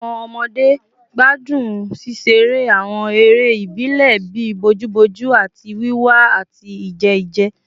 Awọn ọmọde gbadun ṣiṣere awọn ere ibile bii bojuboju ati wiwa ati ije ije